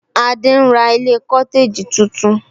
Adé ń ra ilé cotegi tuntun